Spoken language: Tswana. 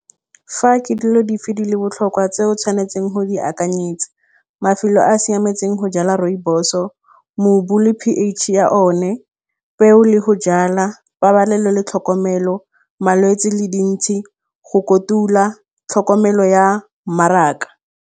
Fa ke dilo dife di le botlhokwa tseo tshwanetseng go di akanyetsa mafelo a a siametseng go jala rooibos-o mobu le P_H ya one, peo le go jala, pabalelo le tlhokomelo, malwetse le dintšhi, go kotula, tlhokomelo ya mmaraka.